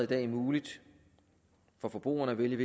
dag muligt for forbrugerne at vælge